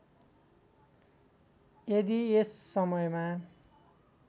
यदि यस समयमा